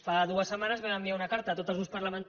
fa dues setmanes vam enviar una carta a tots els grups parlamen